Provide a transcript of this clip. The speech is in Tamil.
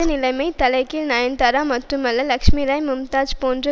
இப்போது நிலைமை தலைகீழ் நயன்தாரா மட்டுமல்ல லட்சுமிராய் மும்தாஜ் போன்ற